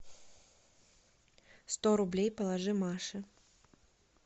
сто рублей положи маше